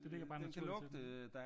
Det ligger bare i naturen til den?